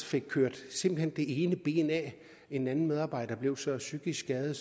fik kørt det ene ben af en anden medarbejder blev så psykisk skadet